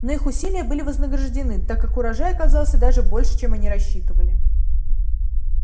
но их усилия были вознаграждены так как урожай оказался даже больше чем они рассчитывали